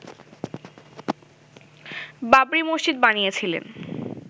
বাবরি মসজিদ বানিয়েছিলেন